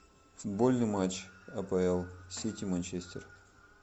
футбольный матч апл сити манчестер